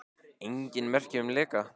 Engin merki séu um leka